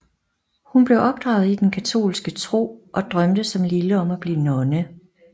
Hun blev opdraget i den katolske tro og drømte som lille om at blive nonne